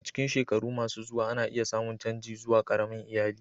A cikin shekaru masu zuwa, ana iya samun canji zuwa ƙaramin iyali.